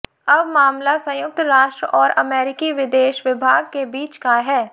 अब मामला संयुक्त राष्ट्र और अमेरिकी विदेश विभाग के बीच का है